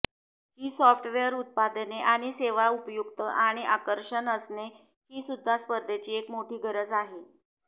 ही software उत्पादने आणि सेवा उपयुक्त आणि आकर्षक असणे हीसुद्धा स्पर्धेची एक मोठी गरज आहे